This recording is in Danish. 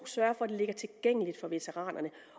sørge for at det ligger tilgængeligt for veteranerne